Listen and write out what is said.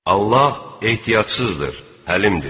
Allah ehtiyacsızdır, həlimdir.